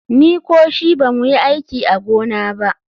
Ni ko shi ba mu yi aiki a gona ba.